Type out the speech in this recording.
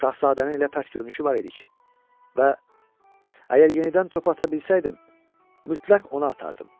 Şahzadənin elə pərt görünüşü var idi ki, və əgər yenidən topu ata bilsəydim, mütləq ona atardım.